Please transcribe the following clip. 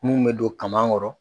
Mun bɛ don kaman kɔrɔ